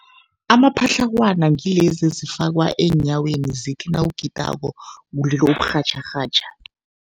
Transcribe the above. Amapatlagwana ngilezi ezifakwa eenyaweni zithi nawugidako kulile uburhatjharhatjha.